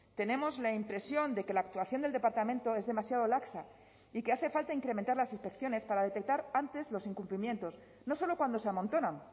tenemos la impresión de que la actuación del departamento es demasiado laxa y que hace falta incrementar las inspecciones para detectar antes los incumplimientos no solo cuando se amontonan